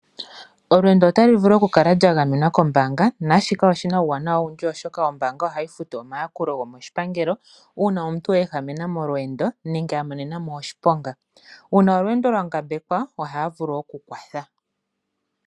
Olweendo otalu vulu oku kala lwa gamenwa kombaanga naashika oshi na uuwanawa owundji oshoka ombaanga ohayi futu omayakulo gomoshipangelo uuna omuntu a ehamena molweendo nenge a monena mo oshiponga. Uuna olweendo lwa ngambekwa ohaya vulu okukwatha.